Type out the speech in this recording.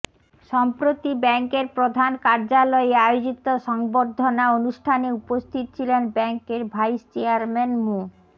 সম্প্রতি ব্যাংকের প্রধান কার্যালয়ে আয়োজিত সংবর্ধনা অনুষ্ঠানে উপস্থিত ছিলেন ব্যাংকের ভাইস চেয়ারম্যান মো